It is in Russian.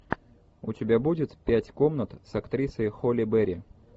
у тебя будет пять комнат с актрисой холли берри